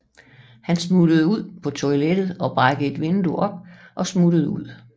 Han flygter ud på toilettet og brækker et vindue op og smutter ud